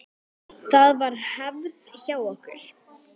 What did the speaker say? Það var hefð hjá okkur.